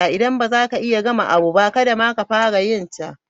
Idan ba za ka iya ka gama abu ba, kadda ma ka fara yin ta.